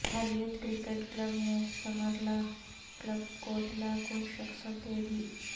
حریت cricket club نے Samrala club Kotla کو شکست دے دی